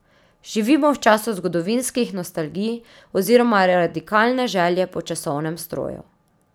Živimo v času zgodovinskih nostalgij oziroma radikalne želje po časovnem stroju.